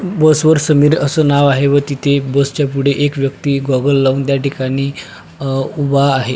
बस वर समीर अस नाव आहे व तिथे बसच्या पुढे एक व्यक्ति गॉगल लावून त्या ठिकाणी अ उभा आहे.